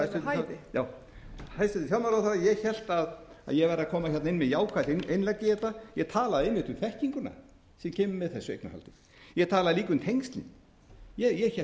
við hæfi já hæstvirtur fjármálaráðherra ég hélt að ég væri að koma hérna inn með jákvætt innlegg í þetta ég talaði einmitt um þekkinguna sem kemur með þessu eignarhaldi ég talaði líka um tengslin ég hélt ég væri jákvæður